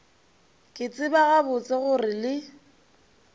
ke tseba gabotse gore le